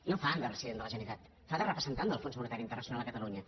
no fa de president de la generalitat fa de representant del fons monetari internacional a catalunya